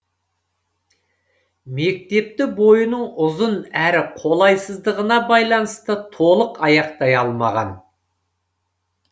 мектепті бойының ұзын әрі қолайсыздығына байланысты толық аяқтай алмаған